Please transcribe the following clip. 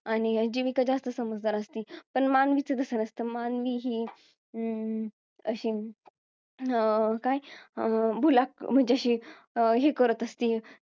आणि जीविका जास्त समजदार असती पण मानवीच तसं नसतं मानवी ही अं अशी अं काय अं भुला अं म्हणजे अशी हे करत असती